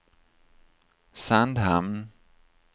Sandhamn